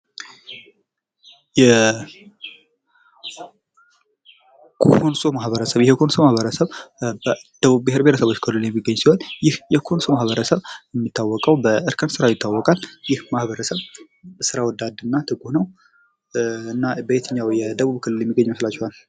የኮንሶ ማህበረሰብ በደቡብ ብሄር ብሄረሰቦችና ህዝቦች ክልል የሚገኝ ሲሆን ይህ የኮንሶ ማህበረሰብ የሚታወቀው በእርከን ስራ ይታወቃል። ይህ ማህበረሰብ ስራ ወዳድና ትጉ ነው። እና በዬትኛው የደቡብ ክልል የሚገኝ ይመስላችኋል?